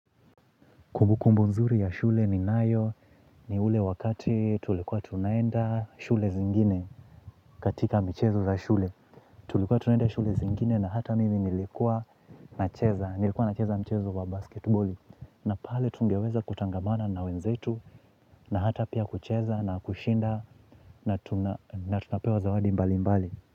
Kumbukumbu nzuri ya shule ni nayo ni ule wakati tulikuwa tunaenda shule zingine katika michezo za shule. Tulikuwa tunaenda shule zingine na hata mimi nilikuwa nacheza mchezo wa basketbole. Na pale tungeweza kutangamana na wenzetu na hata pia kucheza na kushinda na tunapewa zawadi mbali mbali.